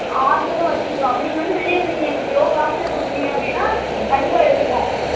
ஆட்டுறதும் வெச்சுருக்கோம் அப்படியும் வெளில lowcost ல குடுத்திங்கனா அதையும் யேடுத்துகுவோம்